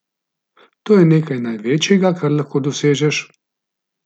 To je nekaj največjega, kar lahko dosežeš.